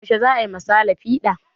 Yaushe za a yi ma sale fiɗa?